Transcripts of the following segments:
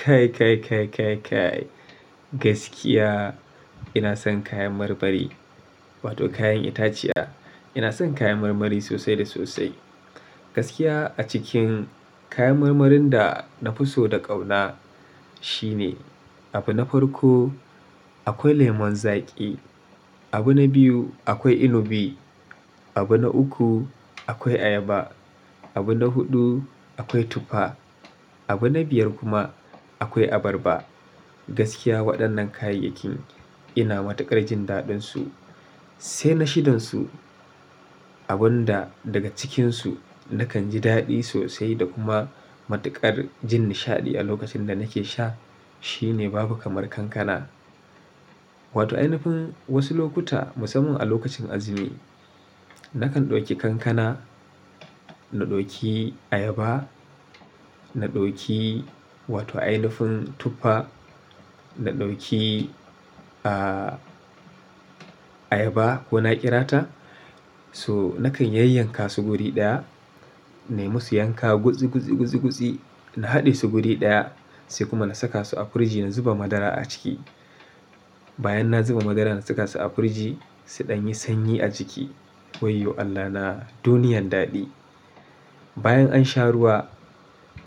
Kai, kai, kai, kai, kai gaskiya ina son kayan marmari wato kayan itaciya. Ina son kayan marmari sosai da sosai. Gaskiya a cikin kayan marmarin da na fi so da ƙauna shine abu na farko akwai lemon zaƙi, abu na biyu akwai inubi, abu na uku akwai ayaba, abu na huɗu akwai tufa, abu na biyar kuma akwai abarba. Gaskiya waɗannan kayayyakin ina matuƙar jin daɗinsu. Sai na shidansu abun da daga cikinsu nakan ji daɗi sosai da kuma matuƙar jin nishaɗi a lokacin da nake sha shine babu kamar kankana. Wato ainifin wasu lokuta musamman a lokacin azumi, nakan ɗauki kankana, na ɗauki ayaba, na ɗauki wato ainifin tufa, na ɗauki ayaba ko na ƙirata so nakan yayyanka su guri ɗaya, nai musu yanka gutsi, gutsi, gutsi, gutsi, na haɗe su guri ɗaya, sai kuma na saka su a firiji na zuba madara a ciki. Bayan na zuba madara na saka su a firiji suɗan yi sanyi a jiki. Wayyo Allahna! Duniyan daɗi. Bayan an sha ruwa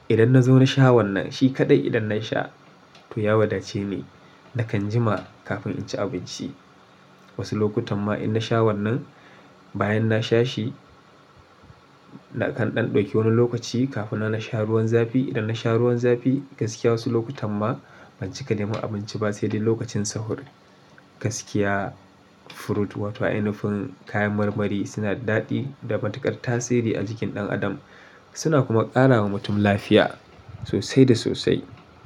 idan na zo na sha wannan shi kaɗai idan na sha to ya wadace ne. Nakan jima kafin in ci abinci. Wasu lokutan ma in na sha wannan bayan na sha shi, nakan ɗan ɗauki wani lokaci kafin nan na sha ruwan zafi. Idan na sha ruwan zafi gaskiya wasu lokutan ma ban cika neman abinci ba sai dai lokacin sahur. Gaskiya fruit wato ainifin kayan marmari suna da daɗi da matuƙar tasiri a jikin ɗan adam. Suna kuma ƙara wa mutum lafiya sosai da sosai.